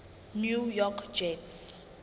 new york jets